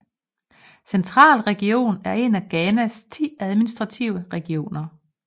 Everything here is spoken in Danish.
Central Region er en af Ghanas ti administrative regioner